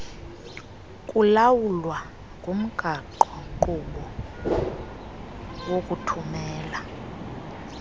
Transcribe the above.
kulawulwa ngumgaqonkqubo wokuthumela